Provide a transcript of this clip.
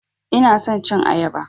Ina son cin ayaba.